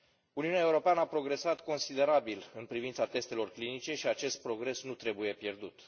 Uniunea Europeană a progresat considerabil în privința testelor clinice și acest progres nu trebuie pierdut.